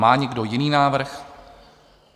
Má někdo jiný návrh?